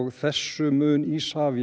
þessu mun Isavia